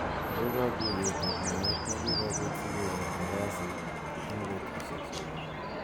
Ako kakuyet ak naet ne kikopot sikenyoru kasit eng betushek che bwane.